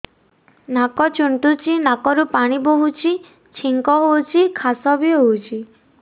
ନାକ ଚୁଣ୍ଟୁଚି ନାକରୁ ପାଣି ବହୁଛି ଛିଙ୍କ ହଉଚି ଖାସ ବି ହଉଚି